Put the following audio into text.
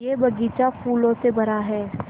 यह बग़ीचा फूलों से भरा है